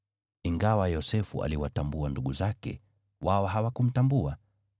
Ingawa Yosefu aliwatambua ndugu zake, wao hawakumtambua.